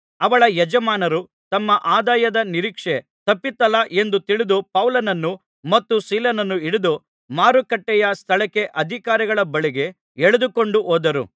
ಅವಳ ಯಜಮಾನರು ತಮ್ಮ ಆದಾಯದ ನಿರೀಕ್ಷೆ ತಪ್ಪಿತಲ್ಲಾ ಎಂದು ತಿಳಿದು ಪೌಲನನ್ನೂ ಮತ್ತು ಸೀಲನನ್ನೂ ಹಿಡಿದು ಮಾರುಕಟ್ಟೆಯ ಸ್ಥಳಕ್ಕೆ ಅಧಿಕಾರಿಗಳ ಬಳಿಗೆ ಎಳೆದುಕೊಂಡು ಹೋದರು